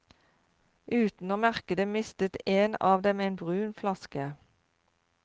Uten å merke det mistet en av dem en brun flaske.